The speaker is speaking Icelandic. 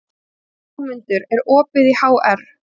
Jómundur, er opið í HR?